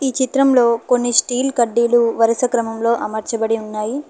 చిత్రంలో కొన్ని స్టీల్ కడ్డీలు వరుస క్రమంలో అమర్చబడి ఉన్నాయి.